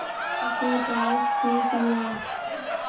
उसे पास खींच लिया